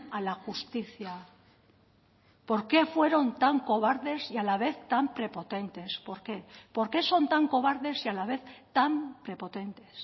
a la justicia por qué fueron tan cobardes y a la vez tan prepotentes por qué por qué son tan cobardes y a la vez tan prepotentes